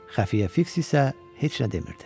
Xəfiyyə Fiks isə heç nə demirdi.